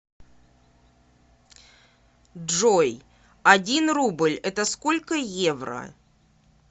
джой один рубль это сколько евро